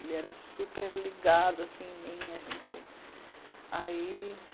Ele era super ligado assim em mim, a gente. Ai